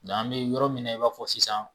Yan bɛ yɔrɔ min na i b'a fɔ sisan.